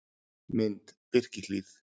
Mynd: Birkihlíð